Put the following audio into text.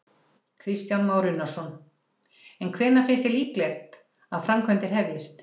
Kristján Már Unnarsson: En hvenær finnst þér líklegt að framkvæmdir hefjist?